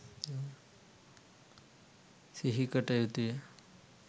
සිහිකට යුතුය.